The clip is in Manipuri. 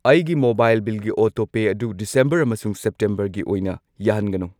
ꯑꯩꯒꯤ ꯃꯣꯕꯥꯏꯜ ꯕꯤꯜꯒꯤ ꯑꯣꯇꯣꯄꯦ ꯑꯗꯨ ꯗꯤꯁꯦꯝꯕꯔ ꯑꯃꯁꯨꯡ ꯁꯦꯞꯇꯦꯝꯕꯔ ꯒꯤ ꯑꯣꯏꯅ ꯌꯥꯍꯟꯒꯅꯨ꯫